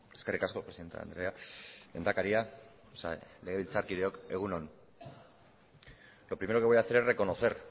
eskerrik asko presidente andrea lehendakariak eta legebiltzarkideok egun on lo primero que voy a hacer es reconocer